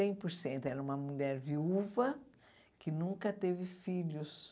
cem por cento. Era uma mulher viúva que nunca teve filhos.